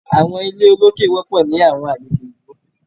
Àwọn ilé olókè wọpọ ni awọn agbegbe ìlú